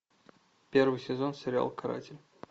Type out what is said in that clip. первый сезон сериал каратель